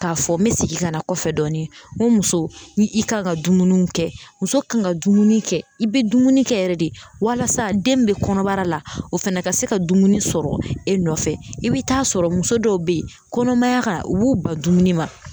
K'a fɔ n mɛ segin ka na kɔfɛ dɔɔnin, n muso ni i kan ka dumuniw kɛ, muso kan ka dumuni kɛ, i be dumuni kɛ yɛrɛ de, walasa den min be kɔnɔbara la, o fana ka se ka dumuni sɔrɔ e nɔfɛ, i be taa sɔrɔ muso dɔw be yen kɔnɔmaya kan, u b'u ba dumuni ma.